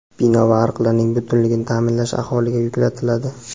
bino va ariqlarning butunligini ta’minlash aholiga yuklatiladi.